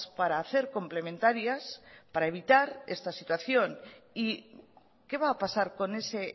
para hacer complementarias para evitar esta situación y qué va a pasar con ese